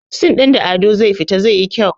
sin ɗin da Ado zai fito zai yi kyau